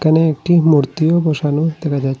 এখানে একটি মূর্তিও বসানো দেখা যায়।